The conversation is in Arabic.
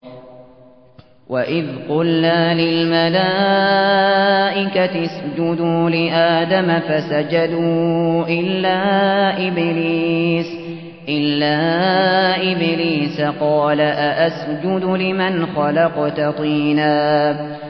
وَإِذْ قُلْنَا لِلْمَلَائِكَةِ اسْجُدُوا لِآدَمَ فَسَجَدُوا إِلَّا إِبْلِيسَ قَالَ أَأَسْجُدُ لِمَنْ خَلَقْتَ طِينًا